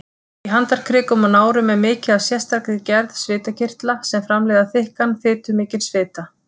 Í handarkrikum og nárum er mikið af sérstakri gerð svitakirtla sem framleiða þykkan, fitumikinn svita.